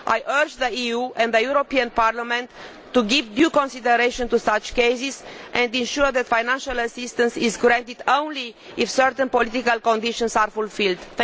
I urge the EU and the European Parliament to give due consideration to such cases and ensure that financial assistance is granted only if certain political conditions are fulfilled.